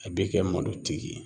A b'i kɛ malotigi ye